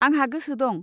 आंहा गोसो दं।